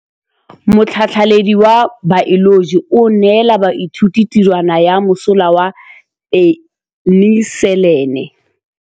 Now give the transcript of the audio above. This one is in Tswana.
Motlhatlhaledi wa baeloji o neela baithuti tirwana ya mosola wa peniselene.